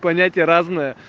понятия разные